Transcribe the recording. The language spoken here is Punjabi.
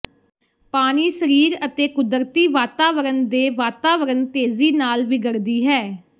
ਪਾਣੀ ਸਰੀਰ ਅਤੇ ਕੁਦਰਤੀ ਵਾਤਾਵਰਨ ਦੇ ਵਾਤਾਵਰਣ ਤੇਜ਼ੀ ਨਾਲ ਵਿਗੜਦੀ ਹੈ